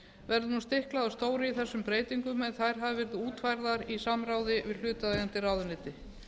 verður nú stiklað á stóru í þessum breytingum en þær hafa verið útfærðar í samráði við hlutaðeigandi ráðuneyti